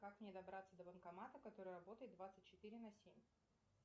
как мне добраться до банкомата который работает двадцать четыре на семь